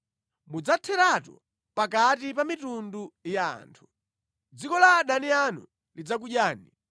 Mudzatheratu pakati pa mitundu ya anthu. Dziko la adani anu lidzakudyani.